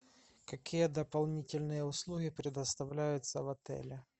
какие дополнительные услуги предоставляются в отеле